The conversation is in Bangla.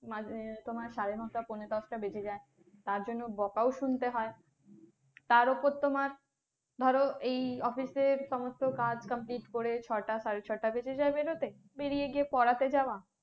মাঝে তোমার সাড়ে নয়টা পনে দশটা বেজে যায়। তার জন্য বকাও শুনতে হয়। তার উপর তোমার ধরো এই office এর সমস্ত কাজ complete করে ছয়টা, সাড়ে ছয়টা বেজে যায় বেরতে, বেরিয়ে গিয়ে পড়াতে যাওয়া